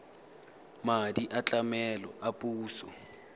madi a tlamelo a puso